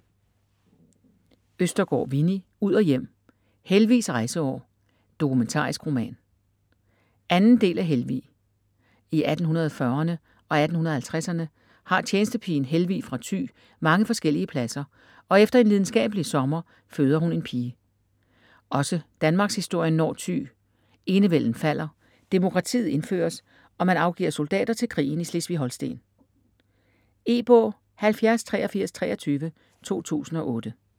Østergaard, Winni: Ud og hjem: Helvigs rejseår: dokumentarisk roman 2. del af Helvig. I 1840erne og 1850erne har tjenestepigen Helvig fra Thy mange forskellige pladser, og efter en lidenskabelig sommer føder hun en pige. Også danmarkshistorien når Thy - enevælden falder, demokratiet indføres, og man afgiver soldater til krigen i Slesvig-Holsten. E-bog 708323 2008.